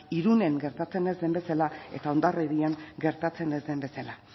irunen gertatzen ez zen bezala eta hondarribian gertatzen ez den bezala